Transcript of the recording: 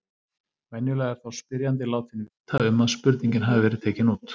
Venjulega er þá spyrjandi látinn vita um að spurningin hafi verið tekin út.